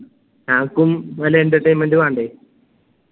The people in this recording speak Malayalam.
ഞാക്കും പല entertainment വണ്ടേ